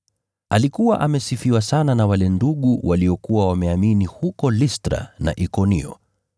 Alikuwa amesifiwa sana na wale ndugu waliokuwa wameamini huko Listra na Ikonio